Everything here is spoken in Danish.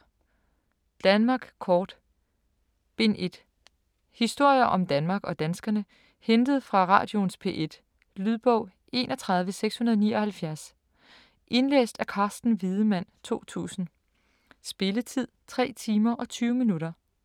Danmark kort: Bind 1 Historier om Danmark og danskerne, hentet fra radioens P1. Lydbog 31679 Indlæst af Carsten Wiedemann, 2000. Spilletid: 3 timer, 20 minutter.